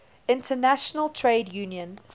international trade union